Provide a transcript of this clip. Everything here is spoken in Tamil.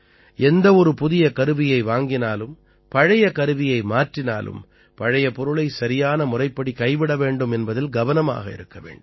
எந்தவொரு புதிய கருவியை வாங்கினாலும் பழைய கருவியை மாற்றினாலும் பழைய பொருளை சரியான முறைப்படி கைவிட வேண்டும் என்பதில் கவனமாக இருக்க வேண்டும்